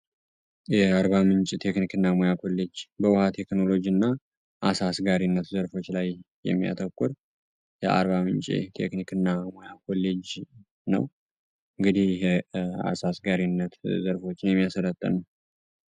የአርባምንጭ ቴክኒክና ሙያ ኮሌጅ እና አሳ አሰጋገር ዘርፎች ላይ የሚያተኩር የአርባምንጭ ቴክኒክና ሙያ ኮሌጅ ነው። እንግዲ ይሄ የአሳ አስጋሪነት ዘርፎች የሚያሰለጥን ነው።